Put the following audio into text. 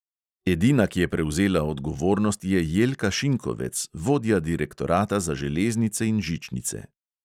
Edina, ki je prevzela odgovornost, je jelka šinkovec, vodja direktorata za železnice in žičnice.